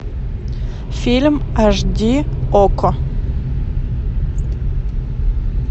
фильм аш ди окко